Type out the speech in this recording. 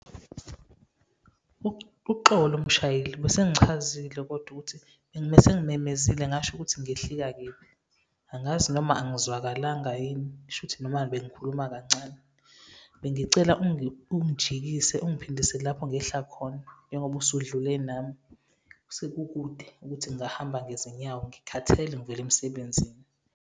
Uxolo mshayeli, besengichazile kodwa ukuthi besengimemezile, ngasho ukuthi ngehlika kephi. Angazi noma angizwakalanga yini? Kusho ukuthi noma bengikhuluma kancane, bengicela ungijikise, ungiphindise lapho ngehla khona, njengoba usudlule nami. Sekukude ukuthi ngingahamba ngezinyawo, ngikhathele ngivela emsebenzini.